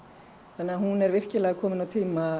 þannig að hún er kominn á tíma